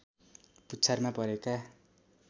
पुच्छारमा परेका